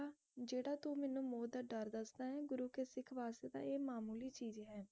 ਜਿਹੜਾ ਤੂੰ ਮੈਨੂੰ ਮੌਤ ਦਾ ਡਰ ਦੱਸਦਾ ਹੈ ਗੁਰੂ ਕੇ ਸਿੱਖ ਵਾਸਤੇ ਤਾ ਇਹ ਮਾਮੂਲੀ ਚੀਜ਼ ਹੈ